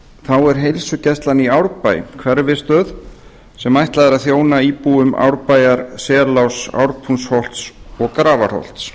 þá er heilsugæslan í árbæ hverfisstöð sem ætlað er að þjóna íbúum árbæjar seláss ártúnsholts og grafarholts